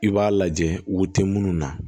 I b'a lajɛ wo tɛ munnu na